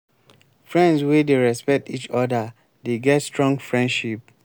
friends wey dey respect each oda dey get strong friendship.